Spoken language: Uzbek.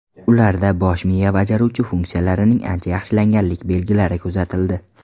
Ularda bosh miya bajaruvchi funksiyalarining ancha yaxshilanganlik belgilari kuzatildi.